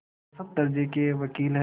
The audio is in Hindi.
औसत दर्ज़े के वक़ील हैं